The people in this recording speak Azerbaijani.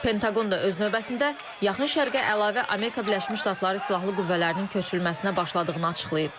Pentaqon da öz növbəsində Yaxın Şərqə əlavə Amerika Birləşmiş Ştatları silahlı qüvvələrinin köçürülməsinə başladığını açıqlayıb.